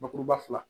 Bakuruba fila